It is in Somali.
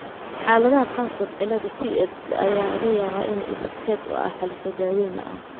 Xaaladaha qaarkood, cillada Tietze ayaa laga yaabaa inay iskeed u xalliso daaweyn la'aan.